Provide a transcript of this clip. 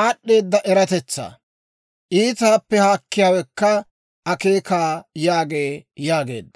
aad'd'eeda eratetsaa; iitaappe haakkiyaawekka akeeka› yaagee» yaageedda.